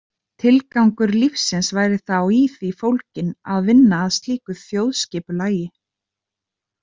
Tilgangur lífsins væri þá í því fólginn að vinna að slíku þjóðskipulagi.